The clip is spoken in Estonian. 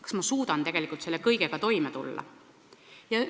Kas ma suudan tegelikult selle kõigega toime tulla?